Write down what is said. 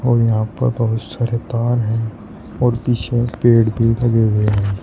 और यहां पर बहुत सारे तार है और पीछे पेड़ भी लगे हुए हैं।